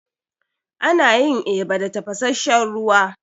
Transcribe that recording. Ana yin eba da tafasasshen ruwa.